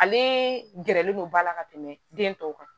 Ale gɛrɛlen don ba la ka tɛmɛ den tɔw kan